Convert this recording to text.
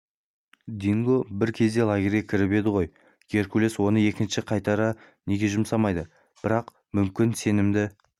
динго бір кезде лагерге кіріп еді ғой геркулес оны екінші қайтара неге жұмсамайды бірақ мүмкін сенімді